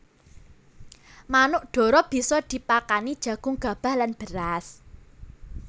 Manuk dara bisa dipakani jagung gabah lan beras